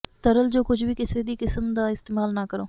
ਤਰਲ ਜੋ ਕੁਝ ਵੀ ਕਿਸੇ ਵੀ ਕਿਸਮ ਦਾ ਇਸਤੇਮਾਲ ਨਾ ਕਰੋ